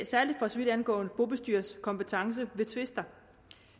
særlig for så vidt angår bobestyrers kompetence ved tvister